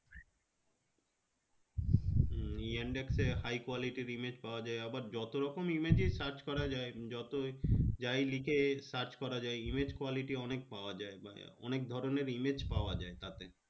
yandex এ high quality র image পাওয়া যায় আবার যতরকম image ই search করা যায় যত যাই লিখে search করা যায় image quality অনেক পাওয়া যায় মানে অনেক ধরণের image পাওয়া যায় তাতে